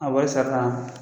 A wari sara la.